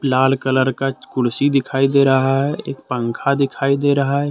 लाल colour का कुर्सी दिखाई दे रहा है एक पंखा दिखाई दे रहा है।